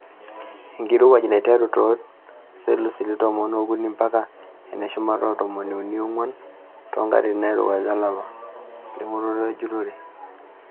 Enkirowuaj naiteru too selisiusi tomon ookuni mpaka eneshumata etomoni uni oongwan too nkatitin nairowua olapa. Limunot enjurore.